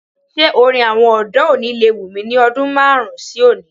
Ṣé orin àwọn ọ̀dọ́ òní lè wù mí ní ọdún márùn-ún sí oni?